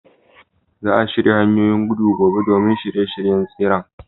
Za a shirya hanyoyin gudu gobe domin shirye-shiryen tseren.